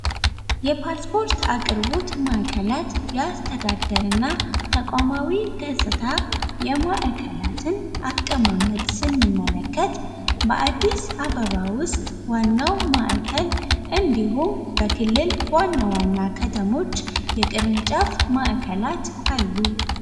የፖስፖርት አቅርቦት ማዕከላት የአስተዳደር እና ተቋማዊ ማዕከላትን አቀማመጥ ስንመለከት በአዲስ አበባ ውስጥ ዋናው ማዕከል እንዲሁም በክልል ዋና ዋና ከተሞች የቅርንጫፍ ማዕከላት አሉ።